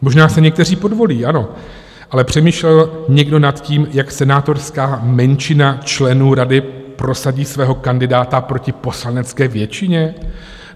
Možná se někteří podvolí, ano, ale přemýšlel někdo nad tím, jak senátorská menšina členů rady prosadí svého kandidáta proti poslanecké většině?